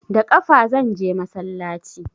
Da ƙafa zanje masallaci